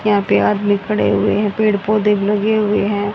यहां पे आदमी खड़े हुए हैं पेड़ पौधे भी लगे हुए हैं।